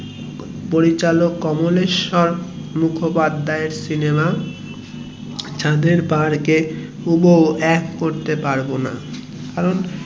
পরিচালক কমলেশ্বর মুখোপাধ্যায়ের সিনেমা চাঁদের পাহাড় কে হুবুহু এক করতে পারবোনা কারণ